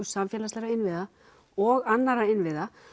samfélagslegu innviða og annarra innviða